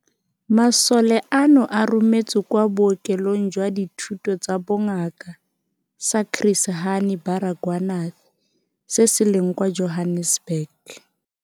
Masole ano a rometswe kwa Bookelong jwa Dithuto tsa Bongaka sa Chris Hani Baragwanath se se leng kwa Johannesburg.